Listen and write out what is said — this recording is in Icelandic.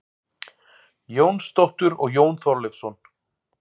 Jónsdóttur og Jón Þorleifsson.